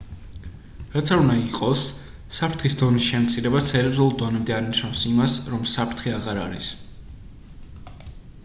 რაც არ უნდა იყოს საფრთხის დონის შემცირება სერიოზულ დონემდე არ ნიშნავს იმას რომ საფრთხე აღარ არის